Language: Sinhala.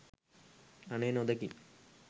අනේ නොදොකින්.